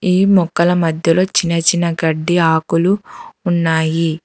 ఈ మొక్కల మధ్యలో చిన్న చిన్న గడ్డి ఆకులు ఉన్నాయి.